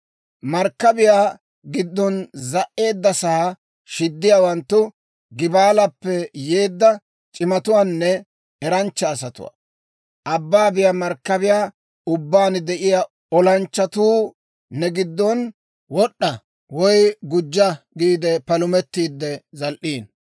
Markkabiyaa giddon za"edasaa shiddiyaawanttu Gebaalappe yeedda c'imatuwaanne eranchcha asatuwaa; abban biyaa markkabiyaa ubbaan de'iyaa oosanchchatuu ne gidon wod'a woy gujja giide palumetiide zal"iino.